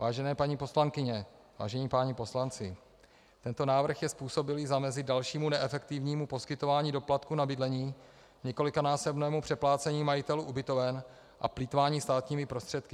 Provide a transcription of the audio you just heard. Vážené paní poslankyně, vážení páni poslanci, tento návrh je způsobilý zamezit dalšímu neefektivnímu poskytování doplatku na bydlení, několikanásobnému přeplácení majitelů ubytoven a plýtvání státními prostředky.